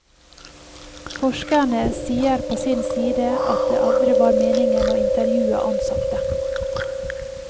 Forskerne sier på sin side at det aldri var meningen å intervjue ansatte.